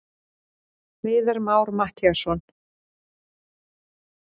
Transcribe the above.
Viðar Már Mattíasson.